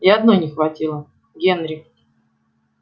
и одной не хватило генри